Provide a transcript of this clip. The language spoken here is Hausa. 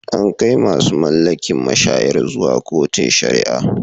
An kai masu mallakin mashayar zuwa kotun sharia.